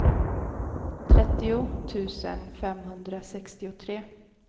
trettio tusen femhundrasextiotre